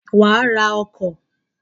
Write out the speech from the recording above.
Wàá ra ọkọ̀